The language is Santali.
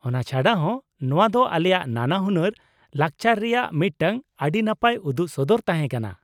ᱚᱱᱟ ᱪᱷᱟᱰᱟ ᱦᱚᱸ ᱱᱚᱶᱟ ᱫᱚ ᱟᱞᱮᱭᱟᱜ ᱱᱟᱱᱟᱦᱩᱱᱟᱹᱨ ᱞᱟᱠᱪᱟᱨ ᱨᱮᱭᱟᱜ ᱢᱤᱫᱴᱟᱝ ᱟᱹᱰᱤ ᱱᱟᱯᱟᱭ ᱩᱫᱩᱜ ᱥᱚᱫᱚᱨ ᱛᱟᱦᱮᱸ ᱠᱟᱱᱟ ᱾